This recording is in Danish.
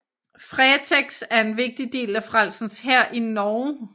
Fretex er en vigtig del af Frelsens Hær i Norge